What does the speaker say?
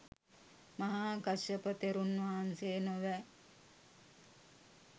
මහා කස්සප තෙරුන් වහන්සේ නොවැ.